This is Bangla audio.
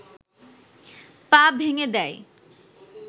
পা ভেঙে দেয়